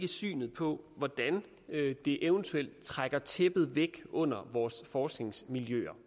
synet på hvordan det eventuelt trækker tæppet væk under vores forskningsmiljøer